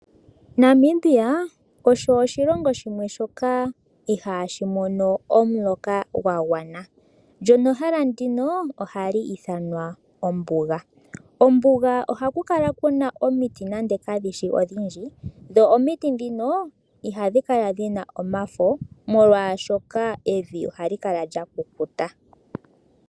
Namibia osho oshilongo shimwe shoka ihashi mono omuloka wa gwana, lyo nehala ndjoka ohali ithanwa ombuga. Mombuga ohamu kala muna omiti nando kadhi shi odhindji, dho omiti dhoka ihadhi kala dhina omafo, molwaashoka evi ohali kala lya kukuta.